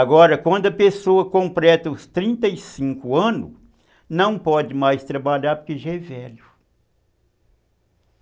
Agora, quando a pessoa completa os trinta e cinco anos, não pode mais trabalhar porque já é velho.